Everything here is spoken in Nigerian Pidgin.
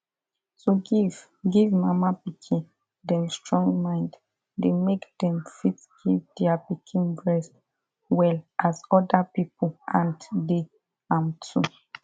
to give give mama pikin them strong mind dey make them fit give their pikin breast well as other people hand dey am too